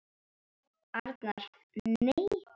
Arnar: Nei.